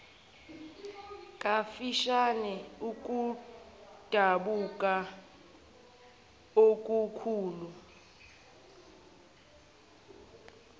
kafishane ukudabuka okukhulu